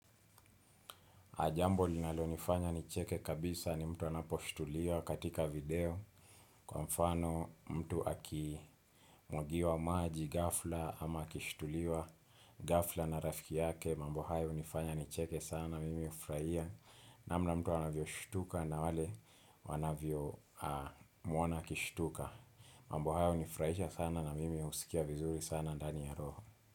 Jambo linalo nifanya nicheke kabisa ni mtu anaposhtuliwa katika video, kwa mfano mtu aki mwagiwa maji ghafla, ama akishtuliwa ghafla na rafiki yake. Mambo hayo hunifanya nicheke sana mimi hufurahia namna mtu anavyoshtuka na wale wanavyo mwona akishtuka. Mambo hayo hunifarahisha sana na mimi husikia vizuri sana ndani ya roho.